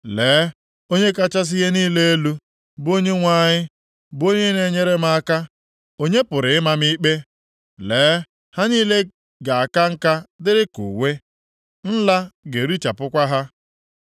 Lee, Onye kachasị ihe niile elu, bụ Onyenwe anyị bụ onye na-enyere m aka. Onye pụrụ ịma m ikpe? Lee, ha niile ga-aka nka dịrị ka uwe, nla ga-erichapụkwa ha.